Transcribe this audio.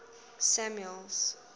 samuel's